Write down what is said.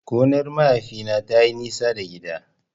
Gonar mahaifina tayi nisa da gida.